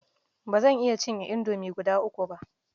Ba zan iya cinye indomi guda uku ba